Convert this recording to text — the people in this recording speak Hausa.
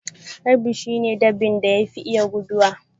Rabbi shi ne dabban da yafi iya guduwa.